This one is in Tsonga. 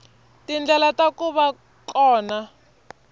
tindlela ta ku va kona